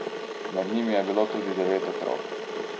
Med njimi je bilo tudi devet otrok.